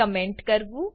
comment કરવું